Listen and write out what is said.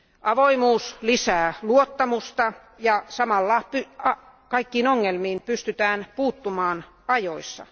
Avoimuus lisää luottamusta, ja samalla kaikkiin ongelmiin pystytään puuttumaan ajoissa.